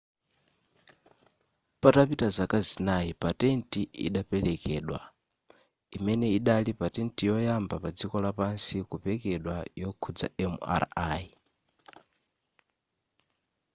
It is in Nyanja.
patapita zaka zinayi patent idaperekedwa imene idali patent yoyamba padziko lapansi kupekedwa yokhudza mri